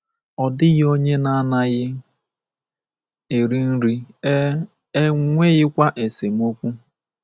Ọ dịghị onye na-anaghị eri nri, e e nweghịkwa esemokwu.